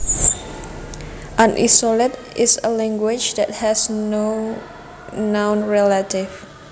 An isolate is a language that has no known relatives